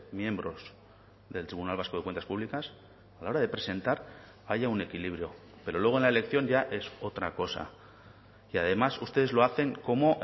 miembros del tribunal vasco de cuentas públicas a la hora de presentar haya un equilibrio pero luego en la elección ya es otra cosa y además ustedes lo hacen como